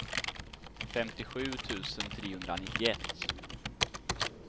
femtiosju tusen trehundranittioett